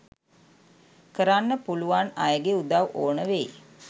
කරන්න පුළුවන් අයගෙ උදව් ඕන වෙයි..